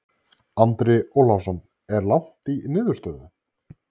Andri Ólafsson: Er langt í niðurstöðu?